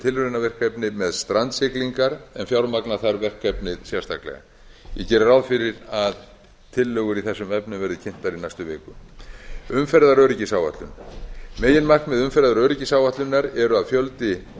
tilraunaverkefni með strandsiglingar en fjármagna þarf verkefnið sérstaklega ég geri ráð fyrir að tillögur í þessum efnum verði kynntar í næstu viku umferðaröryggisáætlun meginmarkmið umferðaröryggisáætlunar eru að fjöldi